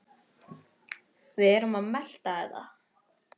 Við erum að melta þetta.